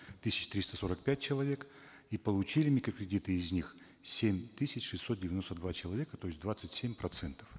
тысяч триста сорок пять человек и получили микрокредиты из них семь тысяч шесть деяносто два человека то есть двадцать семь процентов